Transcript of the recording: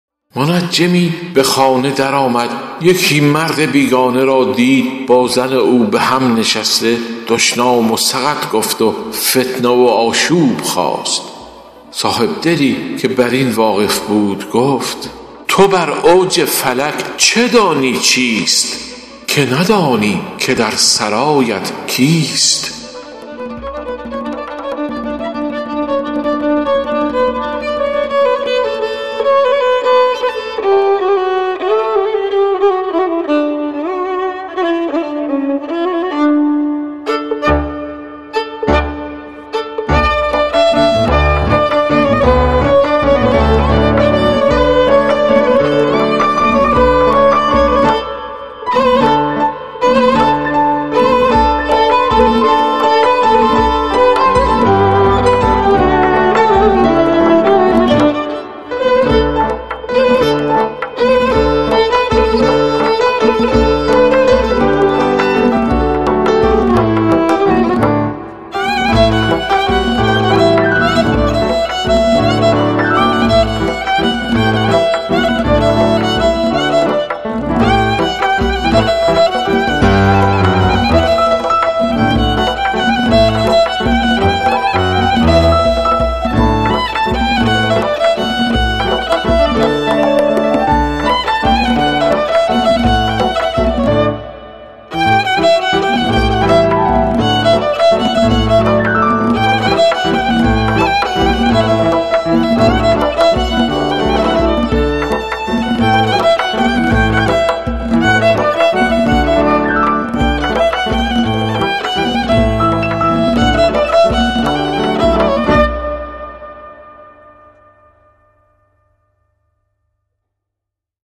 منجمی به خانه در آمد یکی مرد بیگانه را دید با زن او به هم نشسته دشنام و سقط گفت و فتنه و آشوب خاست صاحبدلی که بر این واقف بود گفت تو بر اوج فلک چه دانی چیست که ندانی که در سرایت کیست